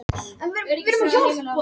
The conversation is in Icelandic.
Orðið rússíbani er tökuorð úr dönsku.